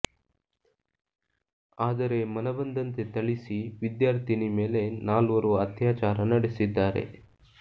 ಆದರೆ ಮನಬಂದಂತೆ ಥಳಿಸಿ ವಿದ್ಯಾರ್ಥಿನಿ ಮೇಲೆ ನಾಲ್ವರು ಅತ್ಯಾಚಾರ ನಡೆಸಿದ್ದಾರೆ